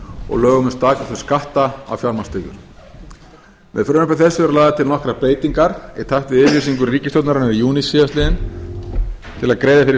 og lögum um staðgreiðslu skatts á fjármagnstekjur með frumvarpi þessu eru lagðar til nokkrar breytingar í takt við yfirlýsingu ríkisstjórnarinnar í júní síðastliðinn til að greiða fyrir